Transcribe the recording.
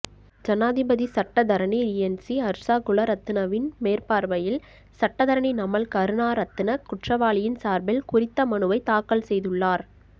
ஜனாதிபதி சட்டத்தரணி ரியென்சி அர்ஸாகுலரத்னவின் மேற்பார்வையில் சட்டத்தரணி நமல் கருணாரத்ன குற்ர்ற்ரவாளியின் சார்பில் குறித்த மனுவை தாக்கல் செய்துள்ளார்